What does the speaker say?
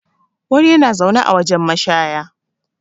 wani yana zaune a wajen mashaya